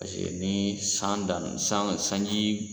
Paseke ni san daminɛ san sanji